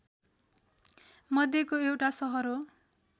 मध्येको एउटा सहर हो